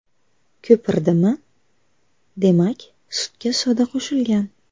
Ko‘pirdimi, demak sutga soda qo‘shilgan.